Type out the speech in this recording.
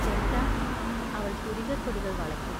ചെറ്ക്കാ അവൾ പുരികക്കൊടികൾ വളയ്ക്കും.